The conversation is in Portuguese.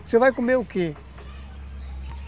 Você vai comer o quê?